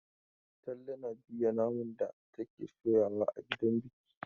Talle na juya naman da take soyawa a gidan biki.